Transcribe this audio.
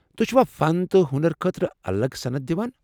توہہِ چھِوا فن تہٕ ہونرٕ خٲطرٕ الگ سند دِوان ؟